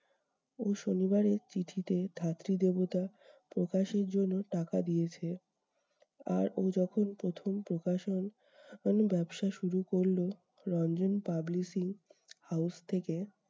ও শনিবারের চিঠিতে ধাত্রীদেবতা প্রকাশের জন্য টাকা দিয়েছে। আর ও যখন প্রথম প্রকাশন ব্যবসা শুরু করলো রঞ্জন publicly house থেকে